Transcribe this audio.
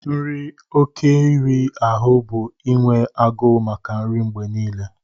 Nri oké iri ahụ bụ inwe agụụ maka nri mgbe niile